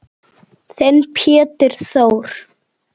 Þinn Pétur Þór.